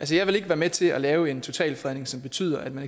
jeg vil ikke være med til at lave en totalfredning som betyder at man